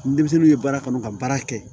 Denmisɛnninw ye baara kanu ka baara kɛ